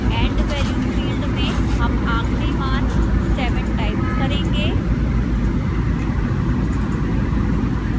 end value field में हम आखिरी मान 7 type करेंगे